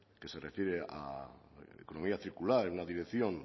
que se refiere a economía circular en una dirección